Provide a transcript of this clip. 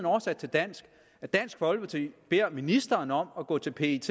oversat til dansk at dansk folkeparti beder ministeren om at gå til pet